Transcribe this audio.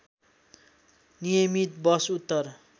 नियमित बस उत्तर